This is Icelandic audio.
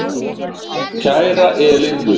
Kæra Elín Rut.